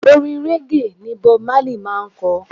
Orin régè ni Bob Marley máa ń ko.